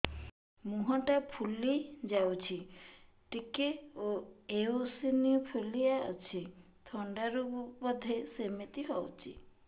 ମୁହଁ ଟା ଫୁଲି ଯାଉଛି ଟିକେ ଏଓସିନୋଫିଲିଆ ଅଛି ଥଣ୍ଡା ରୁ ବଧେ ସିମିତି ହଉଚି